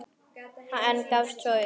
En gafst svo upp.